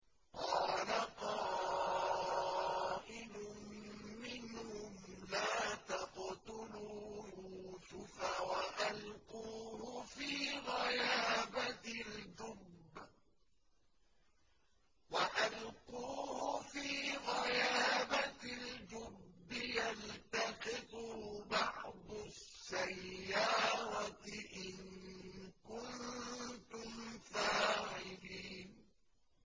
قَالَ قَائِلٌ مِّنْهُمْ لَا تَقْتُلُوا يُوسُفَ وَأَلْقُوهُ فِي غَيَابَتِ الْجُبِّ يَلْتَقِطْهُ بَعْضُ السَّيَّارَةِ إِن كُنتُمْ فَاعِلِينَ